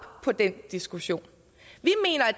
på den diskussion